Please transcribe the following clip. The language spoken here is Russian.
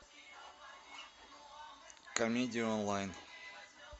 комедии онлайн